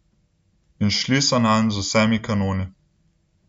In šli so nanj z vsemi kanoni.